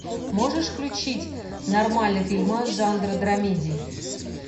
можешь включить нормальный фильмас жанра драмеди